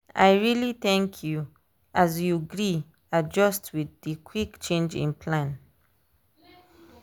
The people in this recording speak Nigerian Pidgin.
i really thank k you as you gree adjust with dey quick change in plan.